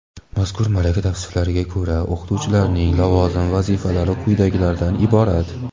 Mazkur malaka tavsiflariga ko‘ra o‘qituvchilarning lavozim vazifalari quyidagilardan iborat:.